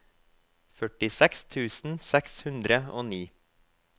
førtiseks tusen seks hundre og ni